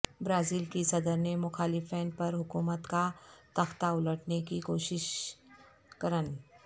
Brazil کی صدر نے مخالفین پر حکومت کا تختہ الٹنے کی کوشش کرن